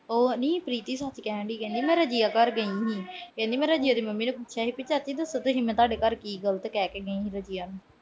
ਉਹ ਨੀ ਪ੍ਰੀਤੀ ਸੱਚ ਕਹਿਣ ਡਈ ਮੈਂ ਰਜੀਆ ਘਰ ਗਈ ਆ ਹੁਣ। ਕਹਿੰਦੀ ਮੈਂ ਰਜੀਆ ਦੀ ਮੰਮੀ ਨੂੰ ਪੁੱਛਿਆ ਚਾਚੀ ਮੈਂ ਕੀ ਗਲਤ ਕਹਿ ਕੇ ਗਈ ਆ ਰਜੀਆ ਨੂੰ ।